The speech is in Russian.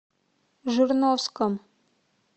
жирновском